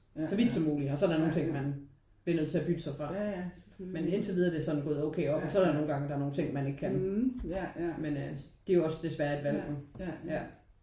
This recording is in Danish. Så vidt som muligt og så er der nogen ting man bliver nødt til at bytte sig fra men indtilvidere er det gået sådan okay op. Og så er der nogle gange nogen ting man ikke kan men øh det er jo også desværre et valg jo ja